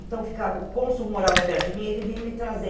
Então ficava... O cônsul morava perto de mim e ele vinha me trazer.